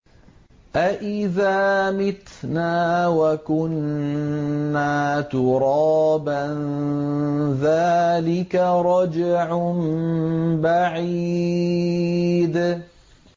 أَإِذَا مِتْنَا وَكُنَّا تُرَابًا ۖ ذَٰلِكَ رَجْعٌ بَعِيدٌ